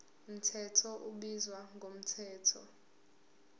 mthetho ubizwa ngomthetho